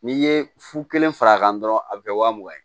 N'i ye fu kelen fara a kan dɔrɔn a bɛ kɛ waa mugan ye